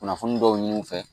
Kunnafoni dɔw ɲini u fɛ